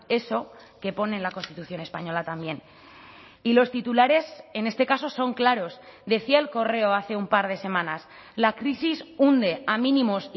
eso que pone en la constitución española también y los titulares en este caso son claros decía el correo hace un par de semanas la crisis hunde a mínimos